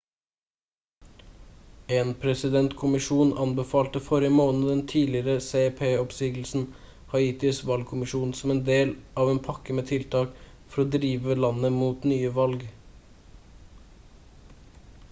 en presidentkommisjon anbefalte forrige måned den tidligere cep-oppsigelsen haitis valgkommisjon som en del av en pakke med tiltak for å drive landet mot nye valg